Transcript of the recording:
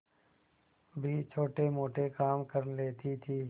भी छोटेमोटे काम कर लेती थी